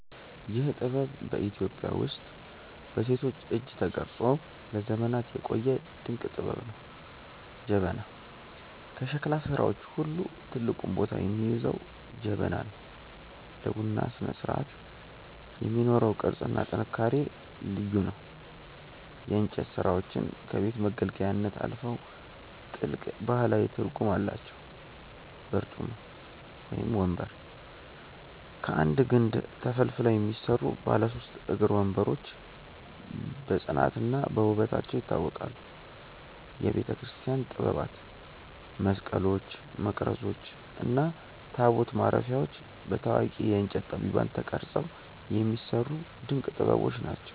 ይህ ጥበብ በኢትዮጵያ ውስጥ በሴቶች እጅ ተቀርጾ ለዘመናት የቆየ ድንቅ ጥበብ ነው። ጀበና፦ ከሸክላ ሥራዎች ሁሉ ትልቁን ቦታ የሚይዘው ጀበና ነው። ለቡና ስነስርዓት የሚኖረው ቅርጽና ጥንካሬ ልዩ ነው። የእንጨት ሥራዎቻችን ከቤት መገልገያነት አልፈው ጥልቅ ባህላዊ ትርጉም አላቸው። በርጩማ (ወንበር)፦ ከአንድ ግንድ ተፈልፍለው የሚሰሩ ባለ ሦስት እግር ወንበሮች በጽናትና በውበታቸው ይታወቃሉ። የቤተክርስቲያን ጥበባት፦ መስቀሎች፣ መቅረዞች እና ታቦት ማረፊያዎች በታዋቂ የእንጨት ጠቢባን ተቀርጸው የሚሰሩ ድንቅ ጥበቦች ናቸው።